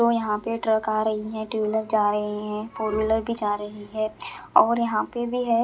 और यहाँ पे ट्रक आ रही है टू व्हीलर जा रही है फोर व्हीलर भी जा रही है और यहाँ पे भी है।